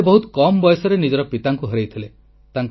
ସେ ବହୁତ କମ୍ ବୟସରେ ନିଜର ପିତାଙ୍କୁ ହରାଇଥିଲେ